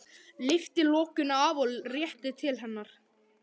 Lyftir lokinu af og réttir til hennar.